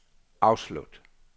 afslut